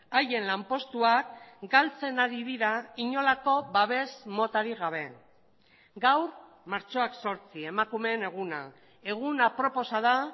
haien lanpostuak galtzen ari dira inolako babes motarik gabe gaur martxoak zortzi emakumeen eguna egun aproposa da